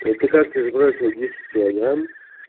это как ты сбросила десять килограмм